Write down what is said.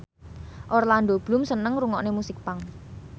Orlando Bloom seneng ngrungokne musik punk